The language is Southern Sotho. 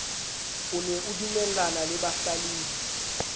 o ne adumellana le bahlalefi